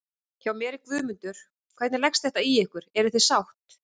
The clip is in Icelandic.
Hjá mér er Guðmundur, hvernig leggst þetta í ykkur, eruð þið sátt?